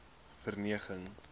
verneging